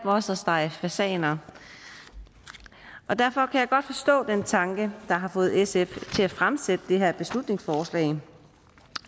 også at stege fasaner derfor kan jeg godt forstå den tanke der har fået sf til at fremsætte det her beslutningsforslag